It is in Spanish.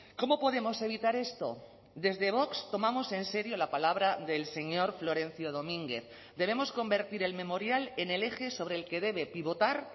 cómo podemos evitar esto desde vox tomamos en serio la palabra del señor florencio domínguez debemos convertir el memorial en el eje sobre el que debe pivotar